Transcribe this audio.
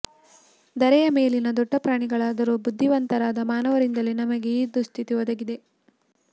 ಧರೆಯ ಮೇಲಿನ ದೊಡ್ಡ ಪ್ರಾಣಿಗಳಾದರೂ ಬುದ್ಧಿವಂತರಾದ ಮಾನವರಿಂದಲೇ ನಮಗೆ ಈ ದುಃಸ್ಥಿತಿ ಒದಗಿದೆ